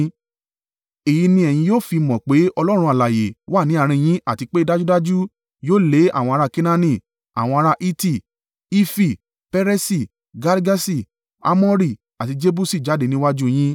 Èyí ni ẹ̀yin yóò fi mọ̀ pé Ọlọ́run alààyè wà ní àárín yín àti pé dájúdájú yóò lé àwọn ará Kenaani, àwọn ará Hiti, Hifi, Peresi, Girgaṣi, Amori àti Jebusi jáde níwájú u yín.